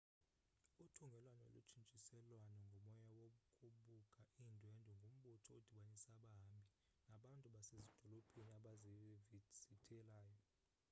uthungelwano lotshintshiselwano ngomoya wokubuka iindwendwe ngumbutho odibanisa abahambi nabantu basezidolophini bazivizithelayo